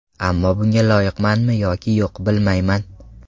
Ammo bunga loyiqmanmi yoki yo‘q, bilmayman.